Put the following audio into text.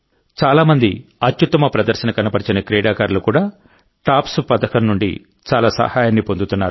చాలా మంది అత్యుత్తమ ప్రదర్శన కనబరిచిన క్రీడాకారులు కూడా టాప్స్ పథకం నుండి చాలా సహాయాన్ని పొందుతున్నారు